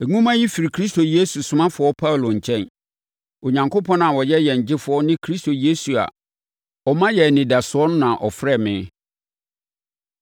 Nwoma yi firi Kristo Yesu somafoɔ Paulo nkyɛn. Onyankopɔn a ɔyɛ yɛn Gyefoɔ ne Kristo Yesu a ɔma yɛn anidasoɔ na ɔfrɛɛ me.